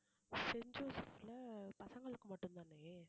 Saint ஜோசப்ல பசங்களுக்கு மட்டும் தானே